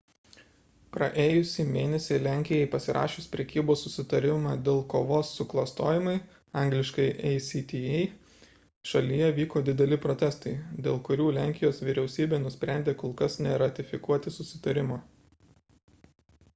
praėjusį mėnesį lenkijai pasirašius prekybos susitarimą dėl kovos su klastojimu angl. acta šalyje vyko dideli protestai dėl kurių lenkijos vyriausybė nusprendė kol kas neratifikuoti susitarimo